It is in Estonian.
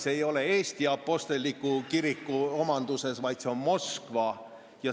See ei ole Eesti apostliku kiriku omanduses, vaid see on Moskva omanduses.